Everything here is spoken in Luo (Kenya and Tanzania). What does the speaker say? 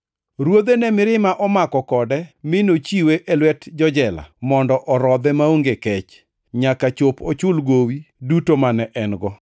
Ruodhe ne mirima omako kode mi nochiwe e lwet jo-jela mondo orodhe maonge kech, nyaka chop ochul gowi duto mane en-go.